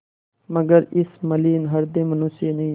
मगर इस मलिन हृदय मनुष्य ने